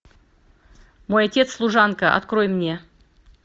мой отец служанка открой мне